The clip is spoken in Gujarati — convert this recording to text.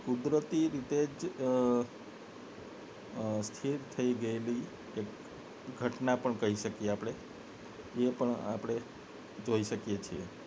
કુદરતી રીતેજ અ અ થઈ ગયેલી ઘટના પણ કહી શકીએ આપને એ પણ આપને જોઈ શકીએ છીએ